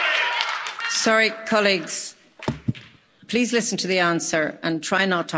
Sorry colleagues, please listen to the answer and try not to holler.